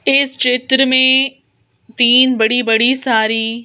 इस चित्र में तीन बड़ी-बड़ी सारी --